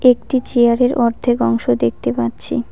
একটি চেয়ারের অর্ধেক অংশ দেখতে পাচ্ছি।